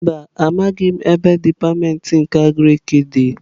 Mba, amaghim ebe dipatịmentị nke Agriki di.